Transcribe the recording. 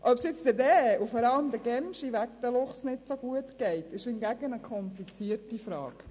Ob es jetzt den Rehen und vor allem den Gämsen wegen der Luchse nicht so gut geht, ist hingegen eine komplizierte Frage.